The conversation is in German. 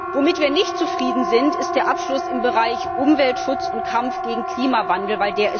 Womit wir nicht zufrieden sind, ist der Abschluss im Bereich Umweltschutz und Kampf gegen den Klimawandel.